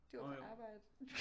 Du var på arbejde